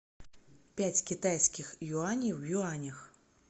пять китайских юаней в юанях